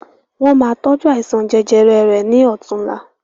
Wọn má tọju àìsàn jẹjẹrẹ rẹ̀ ni ọ̀tunla